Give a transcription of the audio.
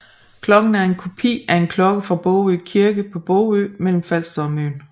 Klokken er en kopi af en klokke fra Bogø Kirke på Bogø mellem Falster og Møn